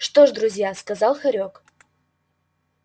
что ж друзья сказал хорёк